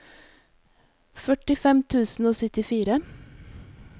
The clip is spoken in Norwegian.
førtifem tusen og syttifire